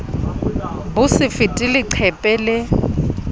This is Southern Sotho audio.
bo se fete leqephe le